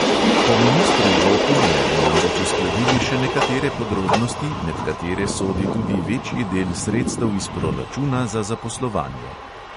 Po ministru ropu naj bi namreč uskladili še nekatere podrobnosti, med katere sodi tudi večji del sredstev iz proračuna za zaposlovanje.